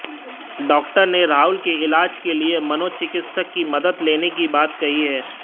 doctor ने राहुल के इलाज के लिए मनोचिकित्सक की मदद लेने की बात कही है